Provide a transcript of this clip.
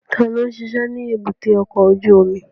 Ta ló ń ṣiṣẹ́ ní èbúté ọkọ̀ ojú omi?